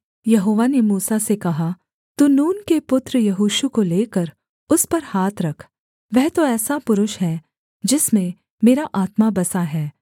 यहोवा ने मूसा से कहा तू नून के पुत्र यहोशू को लेकर उस पर हाथ रख वह तो ऐसा पुरुष है जिसमें मेरा आत्मा बसा है